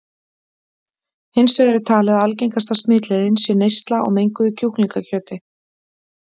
Hins vegar er talið að algengasta smitleiðin sé neysla á menguðu kjúklingakjöti.